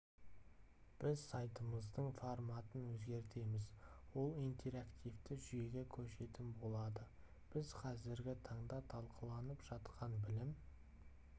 біз сайтымыздың форматын өзгертеміз ол интерактивті жүйеге көшетін болады біз қазіргі таңда талқыланып жатқан білім